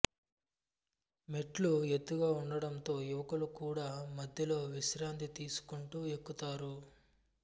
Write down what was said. మెట్లు ఎత్తుగా ఉండడంతో యువకులు కూడా మధ్యలో విశ్రాంతి తీసుకుంటూ ఎక్కుతారు